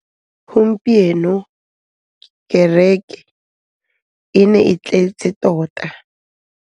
Gompieno kêrêkê e ne e tletse tota.